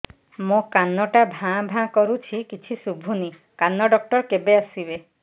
ମୋ କାନ ଟା ଭାଁ ଭାଁ କରୁଛି କିଛି ଶୁଭୁନି କାନ ଡକ୍ଟର କେବେ ଆସିବେ